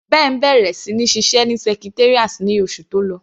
Ben bẹ̀rẹ̀ sí ní ṣiṣẹ́ ní Secretariat ní oṣù tó lọ.